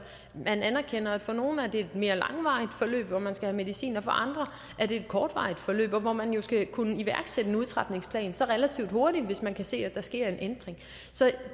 anerkende at for nogle er det et mere langvarigt forløb hvor man skal have medicin og for andre er det et kortvarigt forløb hvor man jo skal kunne iværksætte en udtrapningsplan så relativt hurtigt hvis man kan se at der sker en ændring så